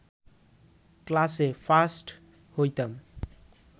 ক্লাসে ফার্স্ট হইতাম